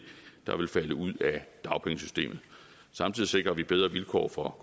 der vil falde ud af dagpengesystemet samtidig sikrer vi bedre vilkår for